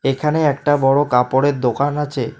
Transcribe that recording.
এখানে একটা বড় কাপড়ের দোকান আছে।